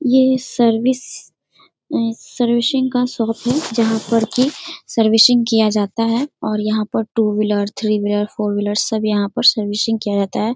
ये service servicing का shop है जहाँ पर की सर्विसिंग किया जाता है और यहाँ पर two wheeler three wheeler four wheeler सब यहाँ पर सर्विसिंग किया जाता है।